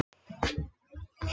Og stundum blossar það upp í mér.